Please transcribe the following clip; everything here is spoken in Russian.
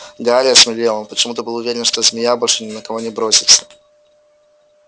гарри осмелел он почему-то был уверен что змея больше ни на кого не бросится